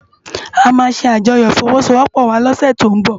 Ámá sé ájòyò ifòwòsówòpò wá lòsè tó n bò